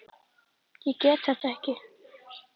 Ég get þetta ekki.